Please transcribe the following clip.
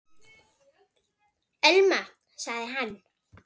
Elma- sagði hann.